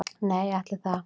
Nei, ætli það